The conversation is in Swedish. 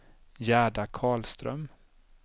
Gerda Karlström